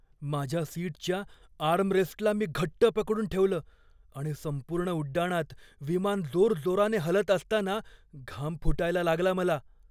माझ्या सीटच्या आर्मरेस्टला मी घट्ट पकडून ठेवलं आणि संपूर्ण उड्डाणात विमान जोरजोराने हलत असताना घाम फुटायला लागला मला.